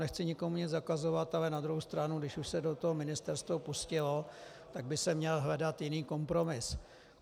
Nechci nikomu nic zakazovat, ale na druhou stranu, když už se do toho ministerstvo pustilo, tak by se měl hledat jiný kompromis.